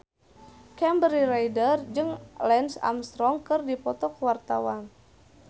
Kimberly Ryder jeung Lance Armstrong keur dipoto ku wartawan